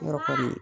Yɔrɔ kɔni